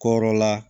Kɔrɔla